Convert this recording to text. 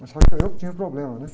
Mas sabe que eu não tinha problema, né?